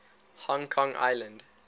hong kong island